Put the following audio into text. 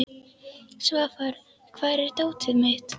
Svafar, hvar er dótið mitt?